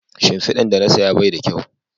Shimfidan da na saya Bai da kyau